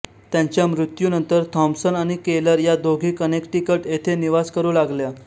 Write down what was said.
त्यांच्या मृत्यूनंतर थाँप्सन आणि केलर या दोघी कनेक्टिकट येथे निवास करू लागल्या